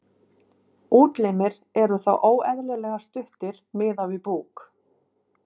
Útlimir eru þá óeðlilega stuttir miðað við búk.